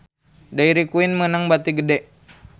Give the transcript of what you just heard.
Dairy Queen meunang bati gede